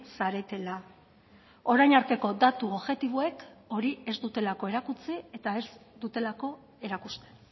zaretela orain arteko datu objektiboek hori ez dutelako erakutsi eta ez dutelako erakusten